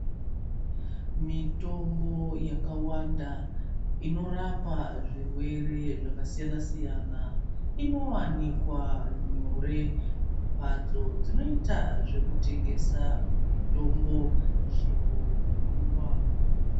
Mitombo yakawanda inorapa zvirwere zvakasiyana siyana inowanikwa nyore mumbatso dzinoita zvekutengesa mitombo chero nguwa.